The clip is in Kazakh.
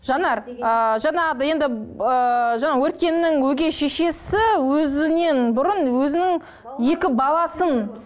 жанар ы жаңағыдай енді ыыы жаңағы өркеннің өгей шешесі өзінен бұрын өзінің екі баласын